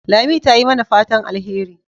Lami ta yi mana fatan alheri.